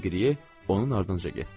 Deqriye onun ardınca getdi.